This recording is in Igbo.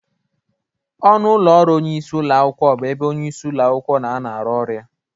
Ọnụ ụlọ ọrụ onyeisi ụlọ akwụkwọ bụ ebe onyeisi ụlọ akwụkwọ na-anọ arụ ọrụ ya.